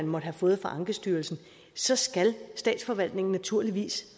måtte have fået fra ankestyrelsen så skal statsforvaltningen naturligvis